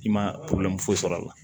I ma foyi sɔrɔ a la